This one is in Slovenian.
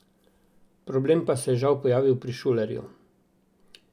Problem pa se je, žal, pojavil pri Šulerju.